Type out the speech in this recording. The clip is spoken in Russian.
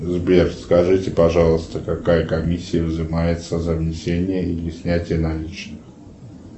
сбер скажите пожалуйста какая комиссия взымается за внесение или снятие наличных